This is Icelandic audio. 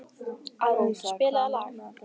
Árún, spilaðu lag.